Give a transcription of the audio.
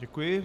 Děkuji.